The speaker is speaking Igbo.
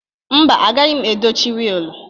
Mba, agaghị m edochi wiilịnụ